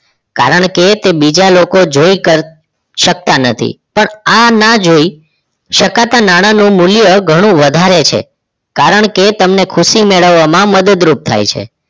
કારણ કે તે બીજા લોકો જોઈ કર કરી શકતા નથી પણ આ ના જોઈ શકાતા નાણાનું મૂલ્ય ઘણું વધારે છે કારણ કે તમને ખુશી મેળવવામાં મદદરૂપ થાય છે